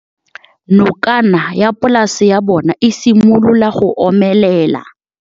Nokana ya polase ya bona, e simolola go omelela.